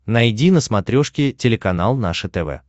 найди на смотрешке телеканал наше тв